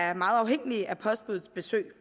er meget afhængige af postbuddets besøg